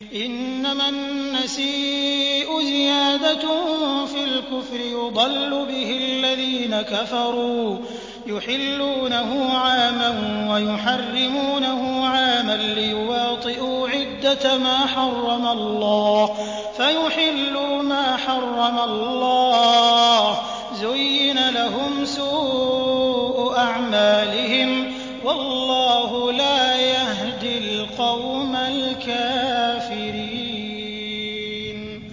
إِنَّمَا النَّسِيءُ زِيَادَةٌ فِي الْكُفْرِ ۖ يُضَلُّ بِهِ الَّذِينَ كَفَرُوا يُحِلُّونَهُ عَامًا وَيُحَرِّمُونَهُ عَامًا لِّيُوَاطِئُوا عِدَّةَ مَا حَرَّمَ اللَّهُ فَيُحِلُّوا مَا حَرَّمَ اللَّهُ ۚ زُيِّنَ لَهُمْ سُوءُ أَعْمَالِهِمْ ۗ وَاللَّهُ لَا يَهْدِي الْقَوْمَ الْكَافِرِينَ